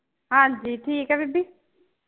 ਹਾਜੀ ਠੀਕ ਆ ਬੀਬੀ